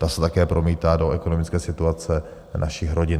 Ta se také promítá do ekonomické situace našich rodin.